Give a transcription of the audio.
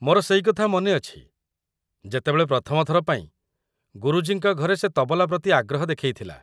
ମୋର ସେଇ କଥା ମନେ ଅଛି ଯେତେବେଳେ ପ୍ରଥମ ଥର ପାଇଁ ଗୁରୁଜୀଙ୍କ ଘରେ ସେ ତବଲା ପ୍ରତି ଆଗ୍ରହ ଦେଖେଇଥିଲା।